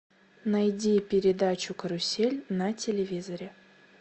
найди передачу карусель на телевизоре